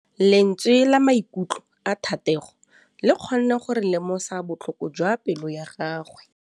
Lentswe la maikutlo a Thategô le kgonne gore re lemosa botlhoko jwa pelô ya gagwe.